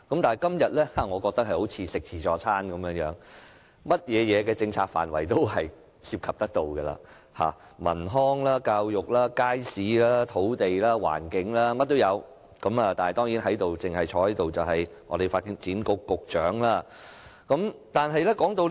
至於今天的議案，我認為它好像自助餐，涉及所有政策範疇，包括文康、教育、街市、土地和環境，樣樣俱全，但在席的政府官員卻只有發展局局長。